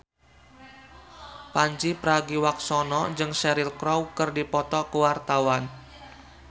Pandji Pragiwaksono jeung Cheryl Crow keur dipoto ku wartawan